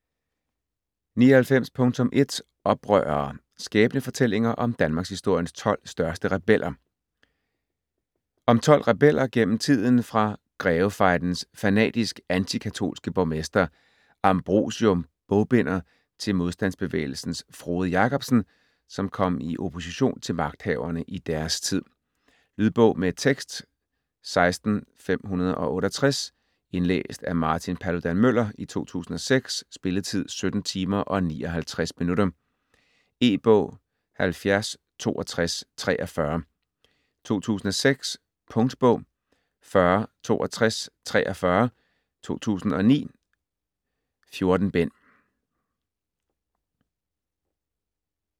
99.1 Oprørere: skæbnefortællinger om danmarkshistoriens tolv største rebeller Om tolv rebeller, gennem tiden fra Grevefejdens fanatisk anti-katolske borgmester Ambrosium Bogbinder til modstandsbevægelsens Frode Jakobsen, som kom i opposition til magthaverne i deres tid. Lydbog med tekst 16568 Indlæst af Martin Paludan-Müller, 2006. Spilletid: 17 timer, 59 minutter. E-bog 706243 2006. Punktbog 406243 2009. 14 bind.